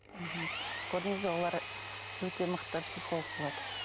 мхм көрдіңіз бе олар өте мықты психолог болады